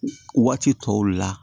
Waati tɔw la